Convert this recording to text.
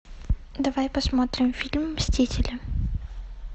давай посмотрим фильм мстители